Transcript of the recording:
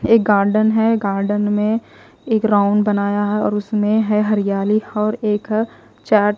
एक गार्डन है गार्डन में एक राउंड बनाया है और उसमें है हरियाली और एक चार्ट --